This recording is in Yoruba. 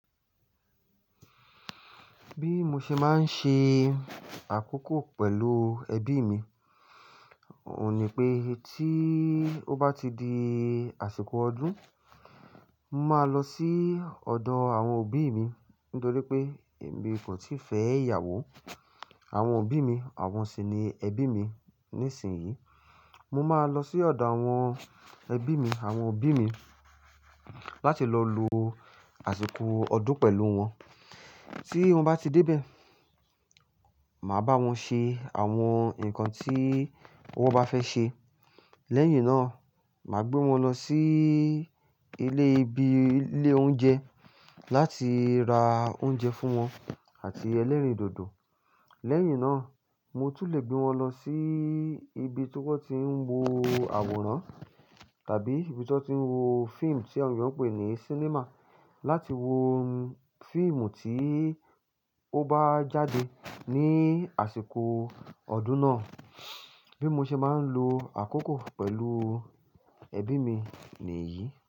Bí mo ṣe máa ń ṣe àkókò pẹ̀lú ẹbí mi, òun ni pé tí ó bá ti di àsìkò ọdún, mo máa lọ sí ọ̀dọ̀ àwọn òbí mi. Nítorí pé èmi kò tíì fẹ́ ìyàwó. Àwọn òbí mi, àwọn sì ni ẹbí mi ní ìsinsìnyí. Mo máa lọ sí ọ̀dọ̀ àwọn ẹbí mi, àwọn òbí mi láti lọ lo àsìkò ọdún pẹ̀lú wọn. Tí mo bá ti dé ibẹ̀, màá bá wọn ṣe àwọn nǹkan tí wọ́n bá fẹ́ ṣe. Lẹ́yìn náà, màá gbé wọn lọ sí ilé ibi ilé oúnjẹ láti ra oúnjẹ fún wọn àti ẹlẹ́rìndòdò. Lẹ́yìn náà, mo tún lè gbé wọn lọ sí ibi tí wọ́n ti ń wo àwòrán tàbí ibi tí wọ́n ti ń wo fíìmù tí àwọn ènìyàn ń pè ní sinimá láti wo fíìmù tí ó bá jáde ní àsìkò ọdún náà. Bí mo ṣe máa ń lo àkókò pẹ̀lú ẹbí mi nìyí.